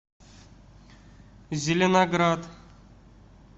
зеленоград